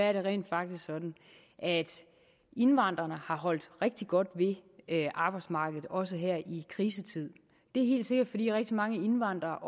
er det rent faktisk sådan at indvandrerne har holdt rigtig godt ved arbejdsmarkedet også her i krisetiderne det er helt sikkert fordi rigtig mange indvandrere